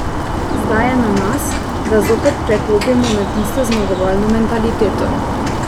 Zdaj je na nas, da zopet preklopimo na tisto zmagovalno mentaliteto.